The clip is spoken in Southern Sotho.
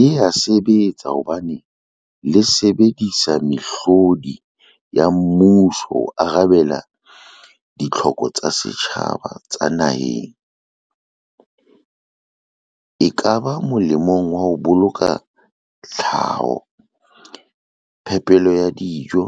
Le ya sebetsa hobane le sebedisa mehlodi ya mmuso ho arabela ditlhoko tsa setjhaba tsa naheng, ekaba molemong wa ho boloka tlhaho, phepelo ya dijo,